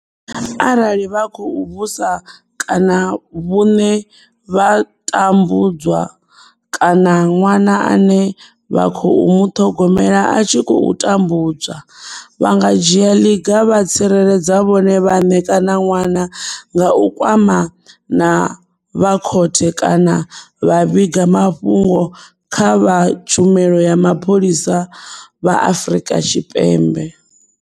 Arali vha kho u vhusa kana vhuṋe vha tambudzwa kana ṅwana ane vha khou muṱhogomela a tshi khou tambudzwa, vha nga dzhia ḽiga vha tsireledza vhone vhaṋe kana ṅwana nga u kwama na vha khothe kana vha vhiga mafhungo kha vha Tshumelo ya Mapholisa vha Afrika Tshipembe.